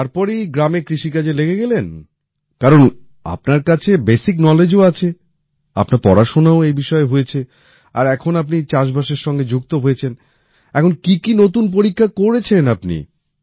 আর তারপরেই গ্রামে কৃষিকাজে লেগে গেলেন কারণ আপনার কাছে বেসিক knowledgeও আছে আপনার পড়াশোনাও এই বিষয়ে হয়েছে আর এখন আপনি চাষবাসের সঙ্গে যুক্ত হয়েছেন এখন কি কি নতুন পরীক্ষা করেছেন আপনি